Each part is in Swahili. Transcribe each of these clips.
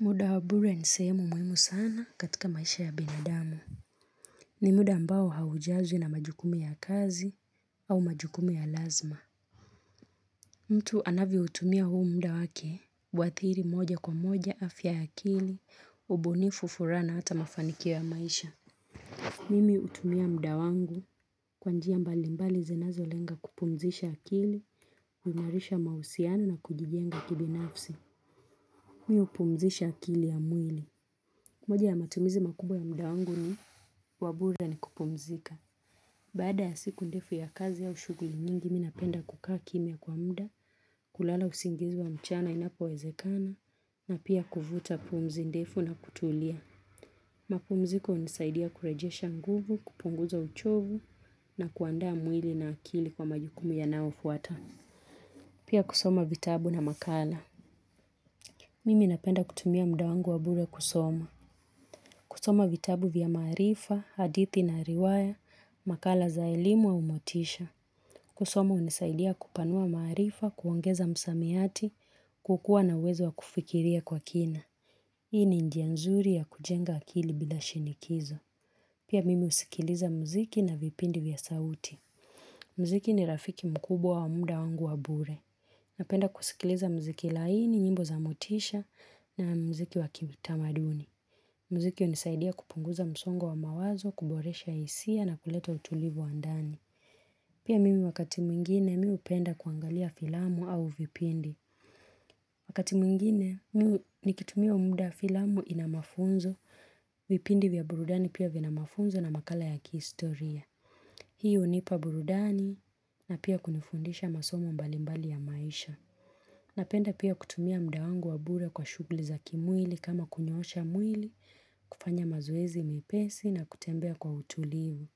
Muda wa bure ni sehemu muhimu sana katika maisha ya binadamu. Ni muda ambao haujazwi na majukumu ya kazi au majukumu ya lazima. Mtu anavyo utumia huu muda wake. Huathiri moja kwa moja afya ya kili. Ubunifu furaha na hata mafanikio ya maisha. Mimi hutumia muda wangu kwa njia mbali mbali zinazo lenga kupumzisha akili. Kuimarisha mahusiano na kujijenga kibinafsi. Mimi hupumzisha akili ya mwili. Moja ya matumizi makubwa ya muda wangu ni wabure ni kupumzika. Bada ya siku ndefu ya kazi au ushuguli nyingi mimi napenda kukaa kimya kwa muda, kulala usingizi wa mchana inapo wezekana, na pia kuvuta pumzi ndefu na kutulia. Mapumziko hunisaidia kurejesha nguvu, kupunguza uchovu, na kuandaa mwili na akili kwa majukumu yanaofuata. Pia kusoma vitabu na makala. Mimi napenda kutumia muda wangu wa bure kusoma. Kusoma vitabu vya marifa, hadithi na riwaya, makala za elimu au motisha. Kusoma hunisaidia kupanua maarifa, kuongeza msamiati, kukua na uwezo wa kufikiria kwa kina. Hii ni njia nzuri ya kujenga akili bila shinikizo. Pia mimi husikiliza muziki na vipindi vya sauti. Muziki ni rafiki mkubwa wa muda wangu wa bure. Napenda kusikiliza muziki laini, nyimbo za motisha na muziki wa kitamaduni. Muziki hunisaidia kupunguza msongo wa mawazo, kuboresha hisia na kuleta utulivu wa ndani. Pia mimi wakati mwingine mimi hupenda kuangalia filamu au vipindi. Wakati mingine mimi nikitumia muda filamu inamafunzo, vipindi vya burudani pia vina mafunzo na makala ya kihistoria. Hii hunipa burudani na pia kunifundisha masomo mbalimbali ya maisha. Napenda pia kutumia muda wangu wa bure kwa shuguli za kimwili kama kunyoosha mwili, kufanya mazoezi mepesi na kutembea kwa utulivu.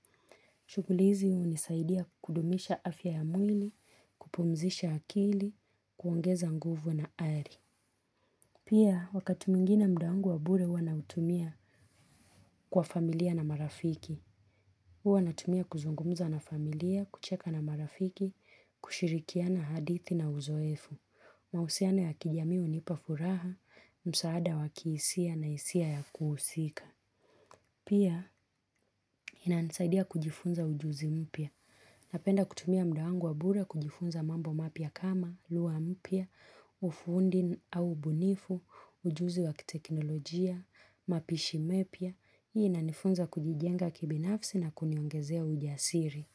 Shuguli hizi unisaidia kudumisha afya ya mwili, kupumzisha akili, kuongeza nguvu na ari. Pia wakati mwingine muda wangu wa bure huwa nautumia kwa familia na marafiki. Wanautumia kuzungumuza na familia, kucheka na marafiki, kushirikiana hadithi na uzoefu. Mahusiano ya kijamii hunipa furaha, msaada wakihisia na hisia ya kuhusika. Pia inanisaidia kujifunza ujuzi mpya. Napenda kutumia muda wangu wa bure kujifunza mambo mapya kama, lugha mpya, ufundi au ubunifu, ujuzi wa kiteknolojia, mapishi mepya. Hii ina nifunza kujijenga kibinafsi na kuniongezea ujasiri.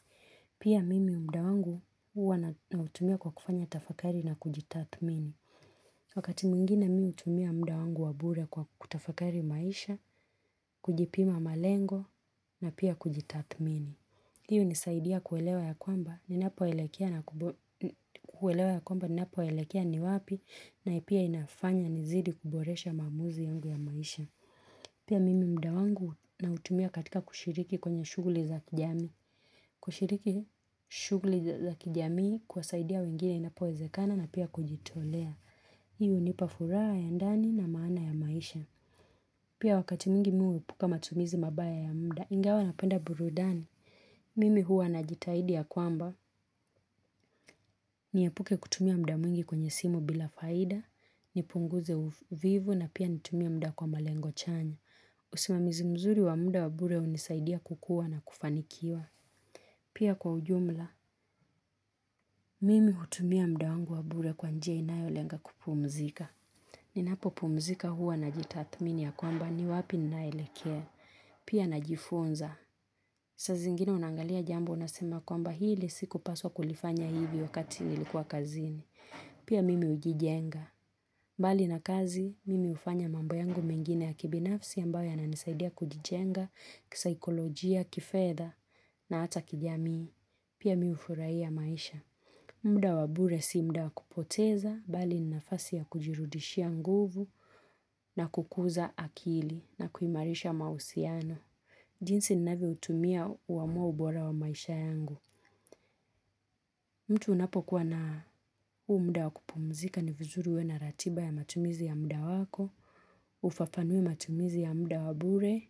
Pia mimi muda wangu wana utumia kwa kufanya tafakari na kujitathmini. Wakati mwingine mimi hutumia muda wangu wa bure kwa kutafakari maisha, kujipima malengo na pia kujitathmini. Hii hunisaidia kuelewa ya kwamba, ninapo elekea ni wapi na ipia inafanya nizidi kuboresha mamuzi yangu ya maisha. Pia mimi muda wangu nautumia katika kushiriki kwenye shughuli za kijamii. Kushiriki shughuli za kijamii kuwasaidia wengine inapowezekana na pia kujitolea. Hi hunipa furaha ya ndani na maana ya maisha Pia wakati mwingi mimi huepuka matumizi mabaya ya muda Ingawa napenda burudani Mimi huwa na jitahidi ya kwamba Niepuke kutumia muda mwingi kwenye simu bila faida nipunguze uvivu na pia nitumie muda kwa malengo chanya usimamizi mzuri wa muda wa bure hunisaidia kukuwa na kufanikiwa Pia kwa ujumla Mimi hutumia muda wangu wa bure kwa njia inayolenga kupumzika Ninapopumzika huwa na jitathmini ya kwamba ni wapi ninaelekea. Pia najifunza. Saa zingine unangalia jambo unasema kwamba hili sikupaswa kulifanya hivi wakati nilikuwa kazini. Pia mimi ujijenga. Mbali na kazi, mimi hufanya mambo yangu mengine ya kibinafsi ambayo yananisaidia kujijenga, kisikolojia, kifedha na hata kijamii. Pia mi hufurahia maisha. Muda wabure si muda wakupoteza, bali ni nafasi ya kujirudishia nguvu na kukuza akili na kuimarisha mahusiano. Jinsi ninavyo utumia huamua ubora wa maisha yangu. Mtu unapo kuwa na huu muda wa kupumzika ni vizuri uwe na ratiba ya matumizi ya mda wako, ufafanue matumizi ya muda wa bure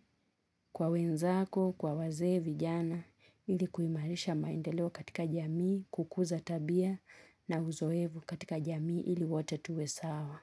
kwa wenzako, kwa wazee vijana, ilikuimarisha mandeleo katika jamii kukuza tabia na huzoefu katika jamii ili wote tuwe sawa.